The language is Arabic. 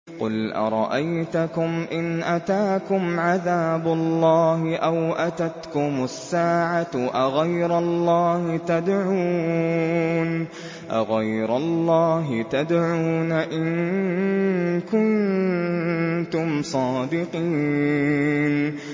قُلْ أَرَأَيْتَكُمْ إِنْ أَتَاكُمْ عَذَابُ اللَّهِ أَوْ أَتَتْكُمُ السَّاعَةُ أَغَيْرَ اللَّهِ تَدْعُونَ إِن كُنتُمْ صَادِقِينَ